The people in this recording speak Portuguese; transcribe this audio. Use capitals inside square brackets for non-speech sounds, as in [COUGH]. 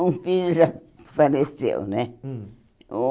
Um filho já faleceu, né? Hum [UNINTELLIGIBLE]